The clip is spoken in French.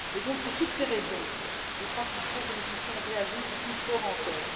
Donc pour toutes ces raisons, je crois qu'il faut que nous puissions réagir plus fort encore.